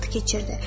Vaxt keçirdi.